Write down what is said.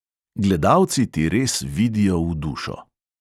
Gledalci ti res vidijo v dušo.